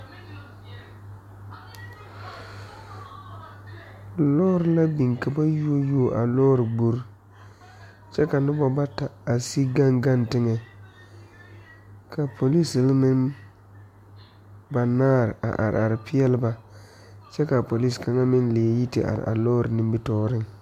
Lɔɔre ka biŋ ka ba yuo yuo a lɔɔre gbore kyɛ ka nobɔ bata a sige gaŋ gaŋ teŋɛ ka polisere meŋ banaare a are are a peɛle ba kyɛ kaa polise kaŋa meŋ leɛ yi ti are a lɔɔre nimitooreŋ.